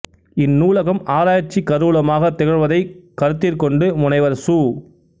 இந் நூலகம் ஆராய்ச்சிக் கருவூலமாகத் திகழ்வதைக் கருத்திற்கொண்டு முனைவர் சு